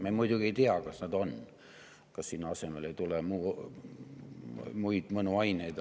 Me muidugi ei tea, ega selle asemele ei tule muid mõnuaineid.